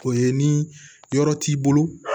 O ye ni yɔrɔ t'i bolo